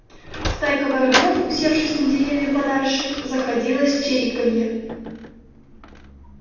стайка воробьёв усевшись на деревья подальше заходилась в чириканье